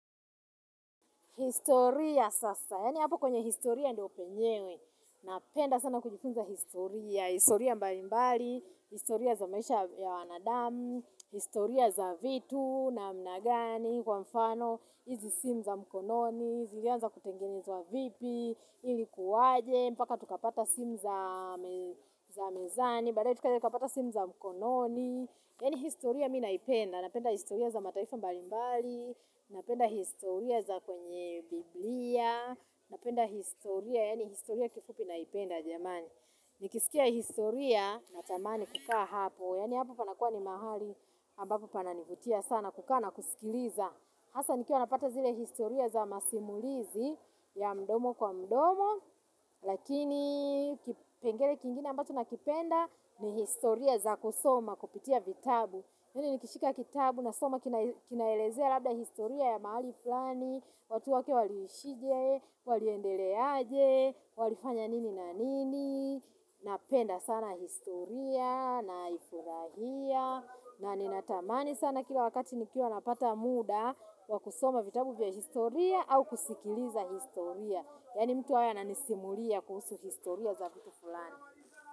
Historia sasa, yaani hapo kwenye historia ndio penyewe, napenda sana kujifunza historia, historia mbalimbali, historia za maisha ya wanadamu, historia za vitu na mnagani, kwa mfano, izi simu za mkononi, zilianza kutengenwa wa vipi, ilikuwaje, mpaka tukapata simu za za mezani, baadae tukapata simu za mkononi. Yani historia minaipenda, napenda historia za mataifa mbalimbali, napenda historia za kwenye biblia, napenda historia, yaani historia kifupi na ipenda jamani. Nikisikia historia na tamani kukaa hapo, yani hapo panakua ni mahali ambapo pananivutia sana kukaa na kusikiliza. Hasa nikiwa wanapata zile historia za masimulizi ya mdomo kwa mdomo, lakini kipengele kingine ambacho na kipenda ni historia za kusoma, kupitia vitabu. Yani nikishika kitabu na soma kinaelezea labda historia ya mahali flani, watu wake waliishije, waliendeleaje, walifanya nini na nini, napenda sana historia na ifurahia. Na ninatamani sana kila wakati nikiwa napata muda wa kusoma vitabu vya historia au kusikiliza historia. Yani mtu haya nanisimulia kuhusu historia za vitu fulani.